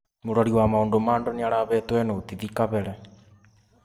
Mũrori wa maũndũ ma andũ nĩarahetwo notithi kabere